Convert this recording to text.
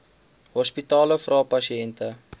hospitale vra pasiënte